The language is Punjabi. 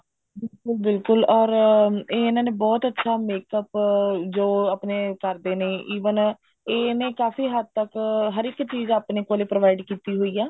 ਬਿਲਕੁਲ ਬਿਲਕੁਲ ਅਰ ਇਹਨਾ ਨੇ ਇਹ ਬਹੁਤ ਅੱਛਾ makeup ਜੋ ਆਪਣੇ ਕਰਦੇ ਨੇ even ਇਹ ਇੰਨੇ ਕਾਫੀ ਹੱਦ ਤੱਕ ਹਰ ਇੱਕ ਚੀਜ ਆਪਣੇ ਕੋਲ provide ਕੀਤੀ ਹੋਈ ਹੈ